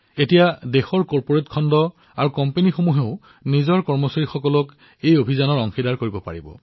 এতিয়া কৰ্পোৰেট খণ্ড দেশৰ কোম্পানীবোৰেও তেওঁলোকৰ কৰ্মচাৰীসকলক প্ৰতিষেধক দিয়াৰ অভিযানত অংশগ্ৰহণ কৰিবলৈ সক্ষম হব